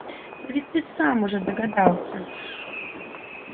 но ведь ты сам уже догадался